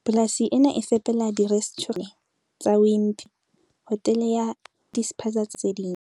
Polasi ena e fepela dire stjhurente tse nne tsa Wimpy, Pick n Pay, hotele ya Holiday Inn le dispaza tsa lehae, hara tse ding.